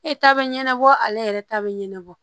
E ta be ɲɛnabɔ ale yɛrɛ ta be ɲɛnabɔ